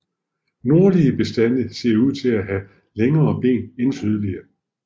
Nordlige bestande ser ud til at have længere ben end sydlige